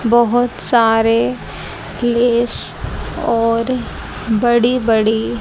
बहोत सारे प्लेस और बड़ी बड़ी--